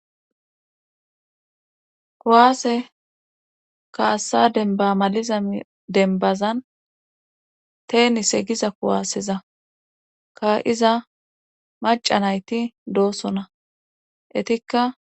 kuwaase kaassa denbamaliza denbazan teeni segiza kuwaaseza ka iza maca nayti doosona etikka